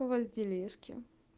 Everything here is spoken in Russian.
у вас делишки